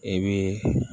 E bɛ